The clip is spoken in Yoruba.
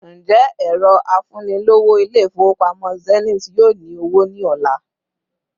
Ǹjẹ́ ẹrọ afunilowo İle-ifowopamo Zenith yóò ní owó ni ola